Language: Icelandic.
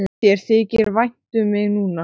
Þér þykir vænt um mig núna.